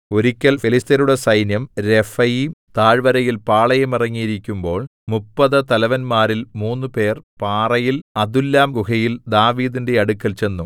ഒരിക്കൽ ഫെലിസ്ത്യരുടെ സൈന്യം രെഫയീം താഴ്വരയിൽ പാളയമിറങ്ങിയിരിക്കുമ്പോൾ മുപ്പതു തലവന്മാരിൽ മൂന്നുപേർ പാറയിൽ അദുല്ലാംഗുഹയിൽ ദാവീദിന്റെ അടുക്കൽ ചെന്നു